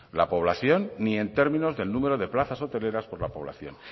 la población ni en términos del número de plazas hoteleras por la población